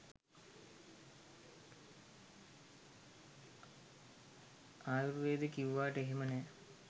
ආයුර්වේද කිව්වට එහෙම නෑ